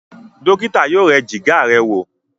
dókítà yóò yẹ Jìgá rẹ wọ